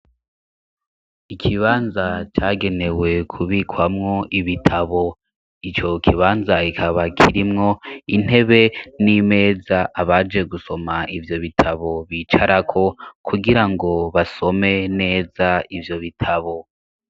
Ikibanza cagenewe kubikwamwo ibitabo, ico kibanza kikaba kirimwo intebe n'imeza abaje gusoma ivyo bitabo bicarako, kugira ngo basome neza ivyo bitabo.